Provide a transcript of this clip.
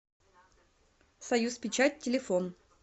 союзпечать телефон